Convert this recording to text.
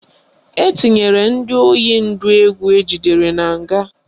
Etinyere ndị oyi ndụ egwu ejidere na nga